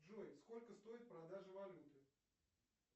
джой сколько стоит продажа валюты